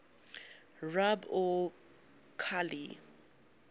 rub al khali